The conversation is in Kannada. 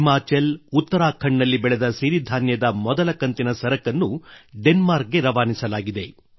ಹಿಮಾಚಲ್ ಉತ್ತರಾಖಂಡ್ ನಲ್ಲಿ ಬೆಳೆದ ಸಿರಿಧಾನ್ಯದ ಗುಜರಾತ್ ನಿಂದ ಮೊದಲ ಕಂತಿನ ಸರಕನ್ನು ಡೆನ್ಮಾರ್ಕ್ ಗೆ ರವಾನಿಸಲಾಗಿದೆ